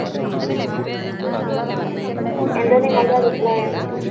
എന്താണ് നിങ്ങളുടെ അഭിപ്രായം?